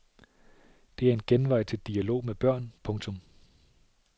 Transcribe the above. Det er en genvej til dialog med børn. punktum